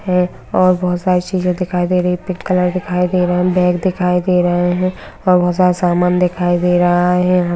है और बोहोत सारे चीजे दिखाई दे रही है पिंक कलर दिखाई दे रहा है बैग दिखाई दे रहे है और बोहोत सारा सामान दिखाई दे रहा है।